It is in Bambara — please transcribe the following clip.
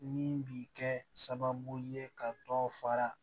Min bi kɛ sababu ye ka dɔ fara